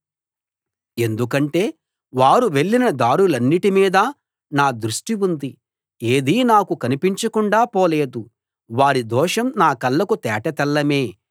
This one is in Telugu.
ఎందుకంటే వారు వెళ్ళిన దారులన్నిటి మీద నా దృష్టి ఉంది ఏదీ నాకు కనిపించకుండా పోలేదు వారి దోషం నా కళ్ళకు తేటతెల్లమే